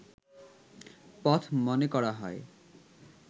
পথ মনে করা হয়